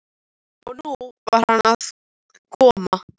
Og nú var hann að koma aftur!